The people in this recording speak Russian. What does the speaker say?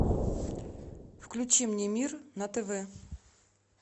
включи мне мир на тв